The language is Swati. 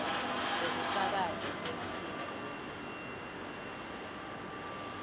tekusakata temsindvo wemlilo